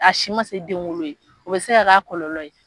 A si ma se denwolo ye o bɛ se ka k'a kɔlɔlɔ ye